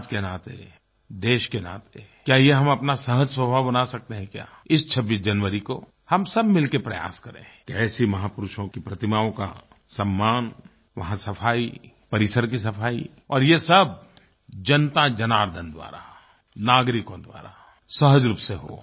समाज के नाते देश के नाते क्या ये हम अपना सहज़ स्वभाव बना सकते हैं क्या इस 26 जनवरी को हम सब मिल के प्रयास करें कि ऐसे महापुरुषों की प्रतिमाओं का सम्मान वहाँ सफाई परिसर की सफाई और ये सब जनताजनार्दन द्वारा नागरिकों द्वारा सहज रूप से हो